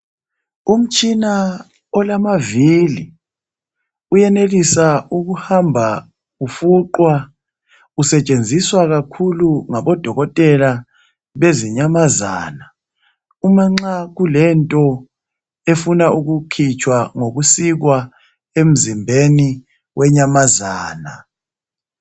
umtshina olamavili uyenelisa ukuhamba ufuqwa usetshenziswa kakhulu ngabo dokotela bezinyamazana umanxa kulento efuna ukukhitshwa kusikwa emzimbeni wenyamazana